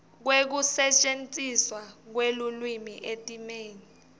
kwekusetjentiswa kwelulwimi etimeni